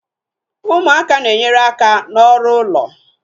Ụmụaka na enyere aka ná ọrụ ụlọ